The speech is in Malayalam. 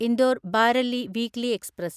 Indore Bareilly weekly express